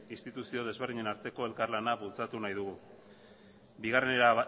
instituzio desberdinen arteko elkarlana bultzatu nahi dugu bigarren era